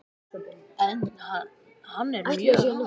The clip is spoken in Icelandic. Hann er mjög hár.